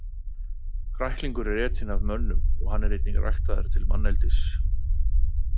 Kræklingur er etinn af mönnum og hann er einnig ræktaður til manneldis.